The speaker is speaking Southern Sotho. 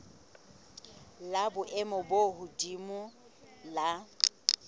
la boemo bo hodimo la